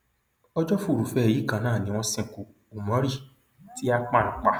ọjọ furuufee yìí kan náà ni wọn sìnkú umori ti akpan pa